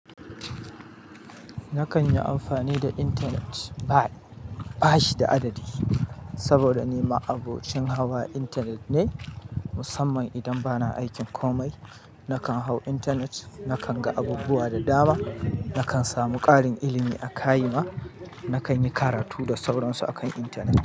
Nakan yi amfani da internet bash da adadi, saboda ni ma'abocin hawa internet ne. Musamman idan bana aikin komai nakan hau internet, nakan ga abubuwa da dama, nakan samu ƙarin ilimi a kayima, na kan yi karatu da sauran su akan internet.